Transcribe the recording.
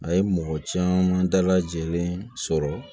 A ye mɔgɔ caman dalajɛlen sɔrɔ